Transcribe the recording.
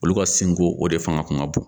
Olu ka sinko o de fanga kun ka bon